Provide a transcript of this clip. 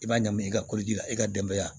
I b'a ɲami i ka ko ji la i ka denbaya